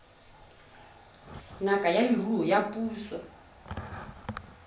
ngaka ya leruo ya puso